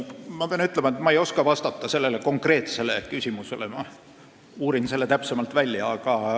Ma pean ütlema, et ma ei oska sellele konkreetsele küsimusele vastata, ma uurin selle täpsemalt välja.